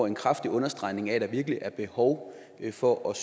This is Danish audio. en kraftig understregning af at der virkelig er behov for at